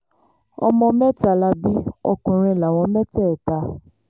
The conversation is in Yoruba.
ọmọ mẹ́ta la bí ọkùnrin láwọn mẹ́tẹ̀ẹ̀ta